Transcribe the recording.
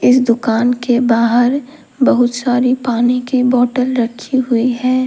इस दुकान के बाहर बहुत सारी पानी की बोटल रखी हुई हैं।